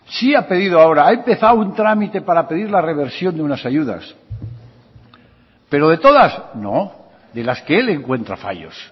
sí ha pedido ahora ha empezado un trámite para pedir la reversión de unas ayudas pero de todas no de las que él encuentra fallos